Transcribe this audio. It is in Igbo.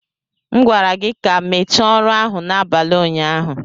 M gwara gị ka mechaa ọrụ ahụ n'abalị ụnyaahụ.